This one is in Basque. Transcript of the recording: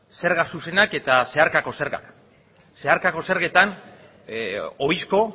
zerga zuzenak eta zeharkako zergak zeharkako zergetan ohizko